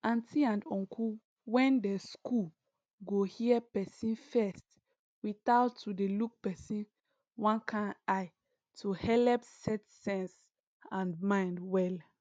auntie and uncle when dey school go hear persin first without to dey look person one kind eye to helep set sense and mind well